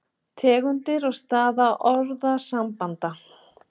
Tegundir og staða orðasambanda